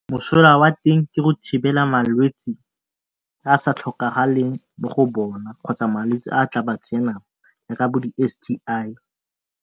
Mosola wa teng ke go thibela malwetsi a a sa tlhokagaleng mo bona kgotsa malwetsi a tla ba tsenang jaaka bo di S_T_I.